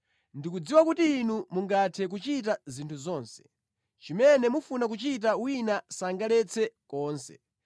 “Ndikudziwa kuti Inu mungathe kuchita zinthu zonse; chimene mufuna kuchita wina sangaletse konse.